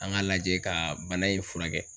An k'a lajɛ kaa bana in furakɛ.